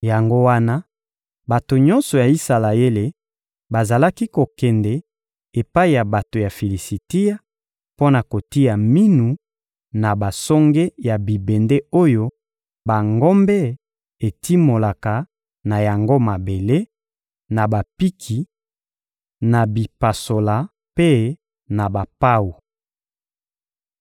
Yango wana, bato nyonso ya Isalaele bazalaki kokende epai ya bato ya Filisitia mpo na kotia minu na basonge ya bibende oyo bangombe etimolaka na yango mabele, na bapiki, na bipasola mpe na bapawu.